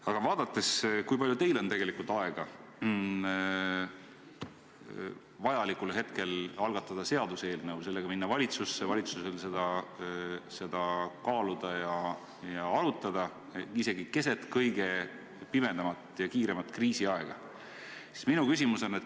Aga vaadates seda, kui palju teil on tegelikult aega vajalikul hetkel algatada seaduseelnõu ja minna sellega valitsusse ning kui palju on valitsusel aega seda kaaluda ja arutada isegi keset kõige pimedamat ja kiiremat kriisiaega, tekib mul küsimus.